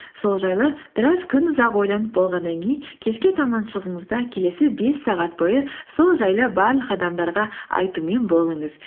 сол жайлы біраз күнұзақ ойланып болғаннан кейін кешке таман шығыңыз да келесі бес сағат бойы сол жайлы барлық адамдарға айтумен болыңыз